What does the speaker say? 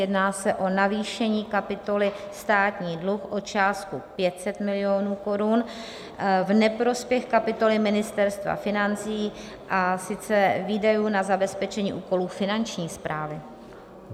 Jedná se o navýšení kapitoly Státní dluh o částku 500 milionů korun v neprospěch kapitoly Ministerstva financí, a sice výdajů na zabezpečení úkolů Finanční správy.